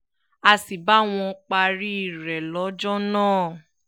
a sì bá wọn parí rẹ̀ lọ́jọ́ náà